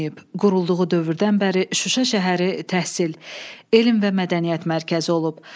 Qurulduğu dövrdən bəri Şuşa şəhəri təhsil, elm və mədəniyyət mərkəzi olub.